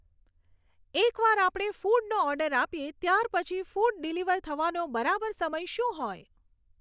એક વાર આપણે ફૂડનો ઓર્ડર આપીએ ત્યાર પછી ફૂડ ડીલિવર થવાનો બરાબર સમય શું હોય